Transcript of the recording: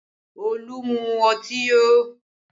Olu mú ọtí yó